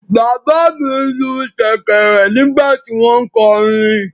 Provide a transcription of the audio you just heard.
Bàbá mi lu ṣẹ̀kẹ̀rẹ̀ nígbà tí wọ́n ń kọrin.